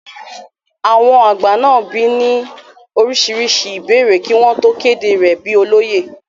àwọn àgbà náà bi í ní oríṣiríṣi ìbéèrè kí wọ́n tó kéde rẹ̀ bíi olóyè